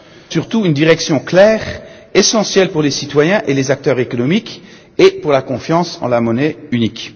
Ce rapport offre surtout une direction claire, essentielle pour les citoyens et les acteurs économiques et pour la confiance dans la monnaie unique.